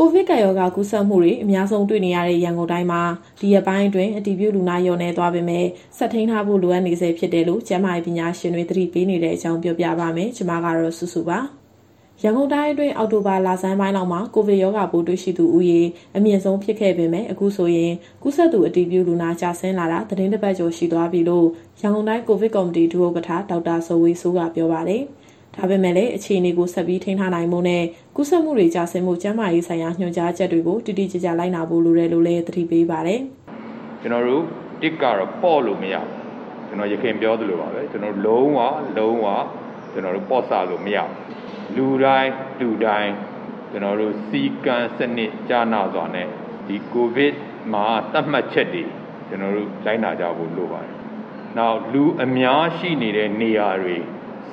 ကိုဗစ်ကပ်ရောဂါ ကူးစက်မှုတွေ အများဆုံး တွေ့ရတဲ့ ရန်ကုန်တိုင်းမှာ ဒီရက်ပိုင်းအတွင်း အတည်ပြုလူနာ လျော့နည်းသွားပေမဲ့ ဆက်ထိန်းထားဖို့ လိုအပ်နေဆဲဖြစ်တယ်လို့ ကျန်းမာရေးပညာရှင်တွေ သတိပေးနေတဲ့အကြောင်း ပြောပြပါမယ်။ ဒီသတင်းကို ဗွီအိုအေမြန်မာပိုင်း သတင်းထောက်မစုစုက တင်ဆက်ပေးမှာပါ။ ရန်ကုန်တိုင်းအတွင်း အောက်တိုဘာလဆန်းပိုင်းလောက်မှာ ကိုဗစ်ရောဂါပိုးတွေ့သူဦးရေ အမြင့်ဆုံးဖြစ်ခဲ့ပေမဲ့ အခုဆိုရင် ကူးစက်သူ အတည်ပြုလူနာ ကျဆင်းလာတာ သီတင်းတပတ်ကျော် ရှိသွားပြီလို့ ရန်ကုန်တိုင်းကော်ဗစ် ကော်မတီဒုဥက္ကဋ္ဌ ဒေါက်တာဇော်ဝေစိုးက ပြောပါတယ်။ ဒါပေမဲ့လည်း အခြေအနေကို ထိန်းထားနိုင်ဖို့နဲ့ ကူးစက်မှုတွေ ကျဆင်းဖို့ ကျန်းမာရေးဆိုင်ရာ ညွှန်ကြားချက်တွေကို တိတိကျကျ လိုက်နာဖို့ လိုတယ်လို့လည်း သတိပေးပါတယ်။ “ကျနော်တို့ ၁ ကတော့ ပေါ့လို့မရပါဘူး။ ကျနော် ယခင်ပြောသလိုပါပဲ၊ လုံးဝ လုံးဝ ကျနော်တို့ပေါ့ဆလို့ မရဘူး။ လူတိုင်း လူတိုင်း စည်းကမ်းစနစ်ကျနစွာနဲ့ ဒီကိုဗစ်မှာသတ်မှတ်ချက်တွေ လိုက်နာကြဖို့လိုပါတယ်။ နောက် လူအများရှိနေတဲ့နေရာတွေ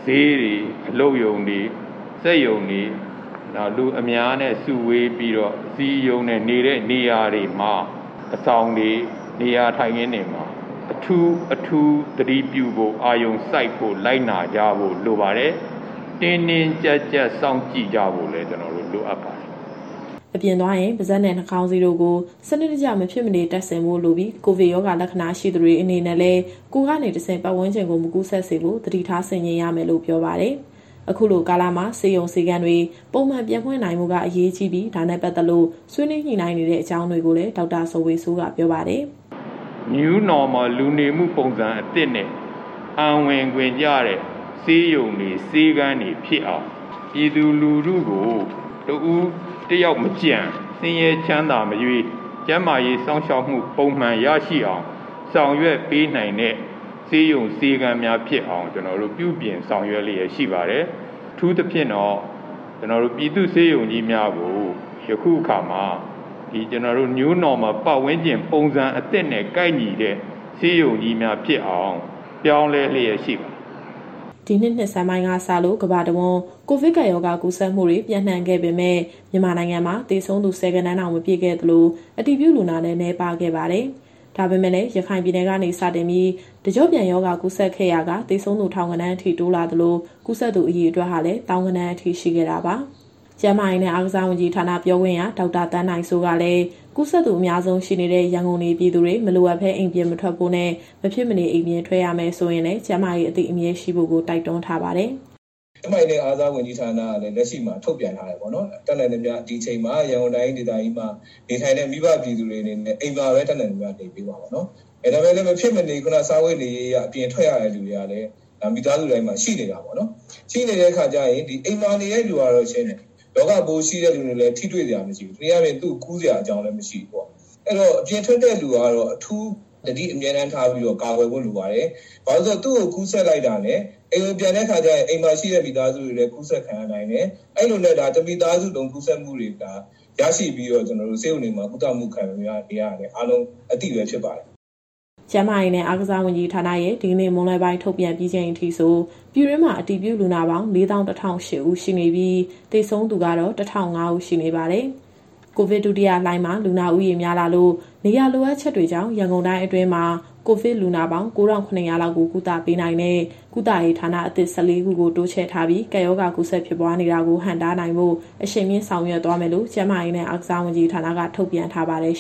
ဈေးတွေ၊ အလုပ်ရုံတွေ၊ စက်ရုံတွေ၊ နောက် လူအများနဲ့ စုဝေးပြီးတော့ နေတဲ့နေရာတွေမှာ အဆောင်တွေ၊ နေရာထိုင်ခင်းတွေမှာ အထူး၊ အထူးသတိပြုဖို့၊ အာရုံစိုက်ဖို့၊ လိုက်နာကြဖို့ လိုပါတယ်။ တင်းတင်းကြပ်ကြပ် စောင့်ကြည့်ကြဖို့လည်း လိုအပ်ပါတယ်။” အပြင်သွားရင် ပါးစပ်နဲ့ နှာခေါင်းစည်းတို့ကို စနစ်တကျ မဖြစ်မနေတပ်ဆင်ဖို့လိုပြီး ကိုဗစ်ရောဂါလက္ခဏာ ရှိသူတွေအနေနဲ့လည်း ကိုယ်ကနေတဆင့် ပတ်ဝန်းကျင်ကိုမကူးစက်စေဖို့ သတိထားဆင်ခြင်ရမယ်လို့ ပြောပါတယ်။ အခုလိုကာလမှာ ဆေးရုံ၊ ဆေးခန်းတွေ ပုံမှန်ပြန်ဖွင့်နိုင်ဖို့က အရေးကြီးပြီး၊ ဒါနဲ့ပတ်သက်လို့ ဆွေးနွေးညှိနှိုင်းနေတဲ့အကြောင်းကိုလည်း ဒေါက်တာဇော်ဝေစိုးက ပြောပါတယ်။ “New Normal လူနေမှုပုံစံအသစ်နဲ့ အံဝင်ခွင်ကျတဲ့ ဆေးရုံတွေ၊ ဆေးခန်းတွေဖြစ်အောင် ပြည်သူလူထုကိုတဦး တယောက်မကျန်၊ ဆင်းရဲ ချမ်းသာမရွေး ကျန်းမာရေးစောင့်ရှောက်မှု ပုံမှန်ရရှိအောင် ဆောင်ရွက်ပေးနိုင်တဲ့ ဆေးရုံ၊ ဆေးခန်းများဖြစ်အောင် ကျနော်တို့ပြုပြင် ဆောင်ရွက်လျက်ရှိပါတယ်။ အထူးသဖြင့်တော့ ပြည်သူ့ဆေးရုံကြီးများကို ယခုအခါမှာ New Normal ပတ်ဝန်းကျင်ပုံစံအသစ်နဲ့ ကိုက်ညီတဲ့ ဆေးရုံကြီးများဖြစ်အောင် ပြောင်းလဲလျက်ရှိပါတယ်။” ဒီနှစ်ဆန်းပိုင်းကစလို့ ကမ္ဘာအဝန်း ကိုဗစ်ကပ်ရောဂါကူးစက်မှုတွေ ပျံ့နှံ့ခဲ့ပေမဲ့ မြန်မာနိုင်ငံမှာ သေဆုံးသူ ၁၀ ဂဏန်းတောင် မပြည့်ခဲ့သလို အတည်ပြုလူနာလည်း နည်းပါးခဲ့ပါတယ်။ ဒါပေမဲ့လည်း ရခိုင်ပြည်နယ်ကနေ စတင်ပြီး တကျော့ပြန် ရောဂါကူးစက်ခဲ့ရာက သေဆုံးသူ ထောင်ဂဏန်းအထိ တိုးလာသလို ကူးစက်သူ အရေအတွက်ဟာလည်း သောင်းဂဏန်းအထိ ရှိခဲ့တာပါ။ ကျန်းမာရေးနဲ့ အားကစားဝန်ကြီးဌာန ပြောခွင့်ရ ဒေါက်တာသန်းနိုင်စိုးကလည်း ကူးစက်သူအများဆုံးရှိနေတဲ့ ရန်ကုန်နေပြည်သူတွေ မလိုအပ်ဘဲ အိမ်ပြင်မထွက်ဖို့နဲ့ မဖြစ်မနေ အိမ်ပြင်ထွက်ရမယ်ဆိုရင်လည်း ကျန်းမာရေးအသိအမြဲရှိဖို့ကို တိုက်တွန်းထားပါတယ်။ “ကျန်းမာရေးနဲ့ အားကစားဝန်ကြီးဌာနကလည်း လက်ရှိမှာ ထုတ်ပြန်ထားတယ်ပေါ့နော်။ တတ်နိုင်သမျှ ဒီအချိန်မှာ ရန်ကုန်တိုင်းဒေသကြီးမှာ နေထိုင်တဲ့မိဘ ပြည်သူတွေအနေနဲ့ အိမ်မှာပဲတတ်နိုင်သမျှ နေပေးပါပေါ့နော်။ ဒါပေမဲ့လည်း မဖြစ်မနေ စားဝတ်နေရေးအရ အပြင်ထွက်ရတဲ့ လူတွေကလည်း မိသားစုတိုင်းမှာ ရှိနေတာပေါ့နော်။ ရှိနေတဲ့အခါကျရင် အိမ်မှာနေတဲ့သူကတော့ ရှင်းတယ်၊ ရောဂါပိုးရှိသူနဲ့လည်း ထိတွေ့စရာမရှိဘူး။ တနည်းအားဖြင့် သူ့ကိုကူးစရာအကြောင်းလည်း မရှိဘူးပေါ့။ အဲတော့ အပြင်ထွက်တဲ့သူကတော့ အထူးသတိ အမြဲတမ်း ထားပြီးတော့ ကာကွယ်ဖို့လိုပါတယ်။ ဘာလို့ဆို သူ့ကိုကူးစက်လိုက်တာနဲ့ အိမ်ကိုပြန်တဲ့အခါကျရင် အိမ်မှာရှိတဲ့မိသားစုတွေလည်း ကူးစက်ခံရနိုင်တယ်။ အဲလိုနဲ့ တမိသားစုလုံး ကူးစက်မှုတွေကို ရရှိပြီးတော့ ဆေးရုံတွေမှာ ကုသမှုခံယူနေရတာလည်း အားလုံးအသိပဲဖြစ်ပါတယ်။” ကျန်းမာရေးနဲ့ အားကစားဝန်ကြီးဌာနရဲ့ဒီကနေ့မွန်းလွဲပိုင်း ထုတ်ပြန်ပြီးချိန်အထိဆို ပြည်တွင်းမှာ အတည်ပြုလူနာပေါင်း ၄၁,၀၀၈ ဦးရှိနေပြီး၊ သေဆုံးသူကတော့ ၁,၀၀၅ ဦးရှိနေပါတယ်။ ကိုဗစ်ဒုတိယလှိုင်းမှာ လူနာဦးရေများလာလို့ နေရာလိုအပ်ချက်တွေကြောင့် ရန်ကုန်တိုင်းအတွင်းမှာ ကိုဗစ်လူနာပေါင်း ၉,၇၀၀ လောက်ကို ကုသပေးနိုင်တဲ့ ကုသရေးဌာနအသစ် ၁၄ ခုကို တိုးချဲ့ထားပြီး ကပ်ရောဂါကူးစက် ဖြစ်ပွားနေတာကို ဟန့်တားနိုင်ဖို့ အရှိန်မြှင့် ဆောင်ရွက်သွားမယ်လို့ ကျန်းမာရေးနဲ့ အားကစားဝန်ကြီးဌာနက ထုတ်ပြန်ထားပါတယ်